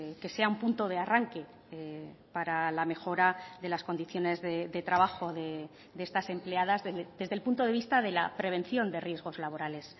que sea un punto de arranque para la mejora de las condiciones de trabajo de estas empleadas desde el punto de vista de la prevención de riesgos laborales